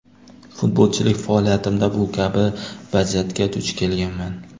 Futbolchilik faoliyatimda bu kabi vaziyatga duch kelganman.